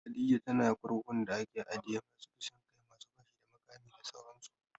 Khadijah tana kurkukun da ake ajiye masu kisan kai, masu fashi da makami da sauran su